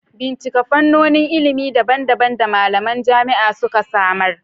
Bincika fannonin ilimi daban-daban da malaman jami'a suka samar.